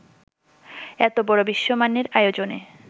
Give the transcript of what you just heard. এত বড় বিশ্বমানের আয়োজনে